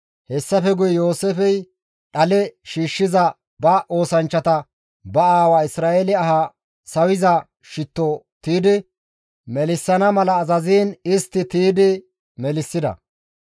Hessafe guye Yooseefey dhale shiishshiza ba oosanchchata ba aawa Isra7eele aha sawiza shitto tiydi melissana mala azaziin istti tiydi melissida.